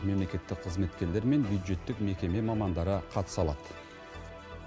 мемлекеттік қызметкерлер мен бюджеттік мекеме мамандары қатыса алады